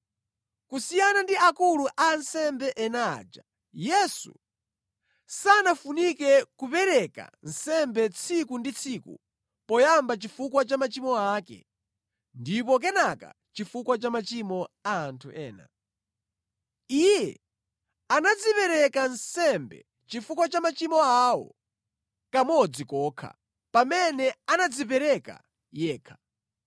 Kusiyana ndi akulu a ansembe ena aja, Yesu sanafunike kupereka nsembe tsiku ndi tsiku poyamba chifukwa cha machimo ake, ndipo kenaka chifukwa cha machimo a anthu ena. Iye anadzipereka nsembe chifukwa cha machimo awo kamodzi kokha pamene anadzipereka yekha.